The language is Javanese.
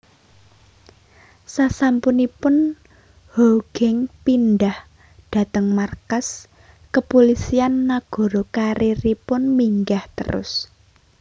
Sasampunipun Hoegeng pindhah dhateng markas Kepulisian Nagara karieripun minggah terus